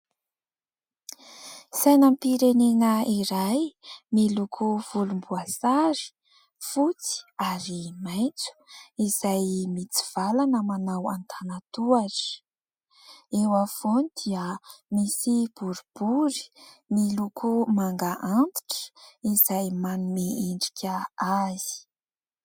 Sainam-pirenena iray miloko volomboasary, fotsy ary maitso, izay mitsivalana manao an-tanan-tohatra. Eo afovoany dia misy boribory miloko manga antitra izay manome endrika azy.